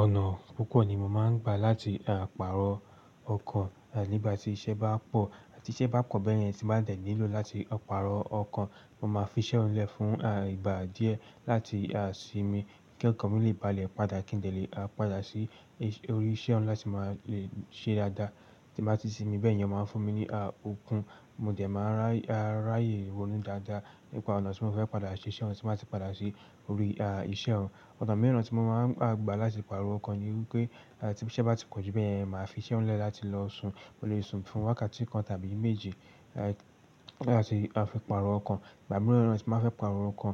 Ọ̀nà púpọ̀ ni mo máa ń gbà láti àparò ọkàn nígbà tí iṣẹ́ bá pọ̀ àti tí iṣẹ́ bá pò bẹ́yẹn, tí mo bá dẹ̀ nílò láti àparò ọkàn. Mo máa fi iṣẹ́ ọ̀nà lẹ̀ fún ìgbà díẹ̀ láti aṣimi kí ọkàn mi lè balẹ̀ padà kí n lè padà sí orí iṣẹ́ ọ̀nà tí máa lè ṣe dáadáa. Tí mo bá ti simi bẹ́yẹn, wọ́n máa ń fún mi ní okun. Mo dẹ̀ máa ráyè ronú dáadáa nípa ọ̀nà tí mo fẹ́ padà ṣe iṣẹ́ ọ̀nà tí máa ti padà ṣe orí iṣẹ́ ọ̀nà. Ọ̀nà mìíràn tí mo máa ń gbà láti pàrọ̀ ọkàn ni wípé tí iṣẹ́ bá ti pọ̀ ju bẹ́yẹn, màá fi iṣẹ́ ọ̀hún lẹ̀ láti lọ sun. Mo lè sun fún wákàtí kan tàbí méjì láti àfi pàrọ̀ ọkàn. Ìgbà mìíràn tí màá fẹ́ pàrọ̀ ọkàn,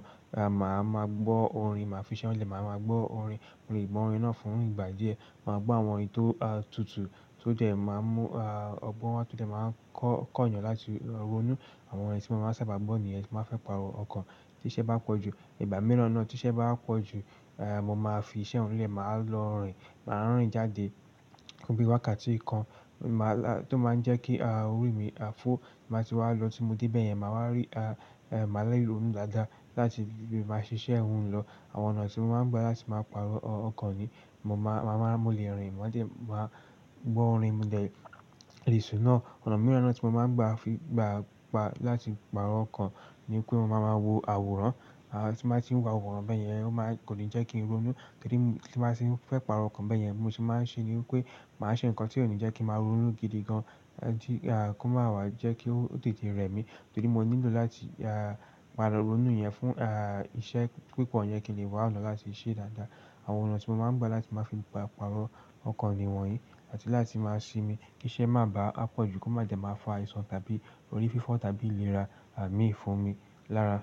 màá máa gbọ́ orin. Màá fi iṣẹ́ ọ̀nà lẹ̀, màá máa gbọ́ orin. Mo lè gbọ́ orin náà fún ìgbà díẹ̀. Màá gbọ́ àwọn orin tó tutù tó dẹ̀ máa mú ọgbọ́n wá tó dẹ̀ máa kọ́nyàn láti ronú. Àwọn orin tí mo máa ń sáábà gbọ́ nìyan tí màá fẹ́ pàrọ̀ ọkàn. Tí iṣẹ́ bá pọ̀ jù ìgbà mìíràn náà tí iṣẹ́ bá pọ̀ jù, èé mo máa fi iṣẹ́ ọ̀hún lẹ̀, màá lọ rìn. Màá rìn jáde tóbi wákàtí kan tó máa ń jẹ́ kí orí mi fọ́. Máa ti wá lọ tí mo dé bẹ́yẹn, màá wá rí, màá láyè ronú dáadáa láti máa ṣiṣẹ́ ohun lọ. Àwọn ọ̀nà tí mo máa ń gbà láti máa pàrọ̀ ọkàn ni mo máa mọ́lẹ̀ rìn. Mo jẹ̀ máa gbọ́ orin, mo dẹ̀ lè ìsùn náà. Ọ̀nà mìíràn tí mo máa ń gbà láti pàrọ̀ ọkàn ni pé mo máa ń wo àwòrán. Tí mo bá ti ń wo àwòrán bẹ́yẹn, ó máa kò ní jẹ́ kí n ronú. Torí tí màá ṣe fẹ́ pàrọ̀ ọkàn bẹ́yẹn, mo sì máa ń ṣe ni wípé màá ṣe nǹkan tí ò ní jẹ́ kí màá ronú gidi gan-an kí ó máa wà jẹ́ kí ó tètè rẹ̀ mí. Torí mo nílò láti máa ronú yẹn fún iṣẹ́ púpọ̀ yẹn kí n lè wá ọ̀nà láti ṣe é dáadáa. Àwọn ọ̀nà tí mo máa ń gbà láti máa fi pàrọ̀ ọkàn ni wọ̀nyí àti láti máa ṣi mi kí iṣẹ́ má bá pọ̀ jù kó má dẹ̀ máa fa àìsàn tàbí orí fífọ́ tàbí ìlera mí fún mi lára.